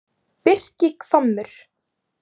Birkihvammur